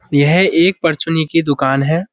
यह एक पर्चुने की दुकान है।